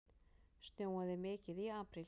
Snjóaði mikið í apríl?